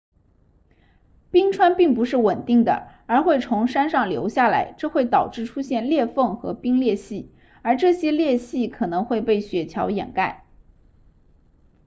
冰川并不是稳定的而会从山上流下来这会导致出现裂缝和冰裂隙而这些裂隙可能会被雪桥掩盖